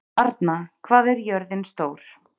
Arna, hvað er jörðin stór?